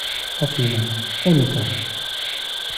афина эмика